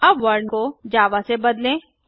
अब वर्ल्ड को जावा से बदलें